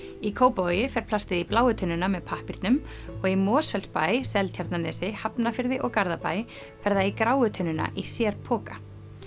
í Kópavogi fer plastið í bláu tunnuna með pappírnum og í Mosfellsbæ Seltjarnarnesi Hafnarfirði og Garðabæ fer það í gráu tunnuna í sér poka